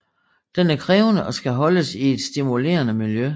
Den er krævende og skal holdes i et stimulerende miljø